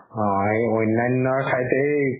অ এই অন্যান্য থায়তে